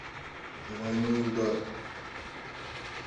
двойной удар